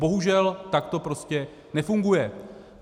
Bohužel, tak to prostě nefunguje.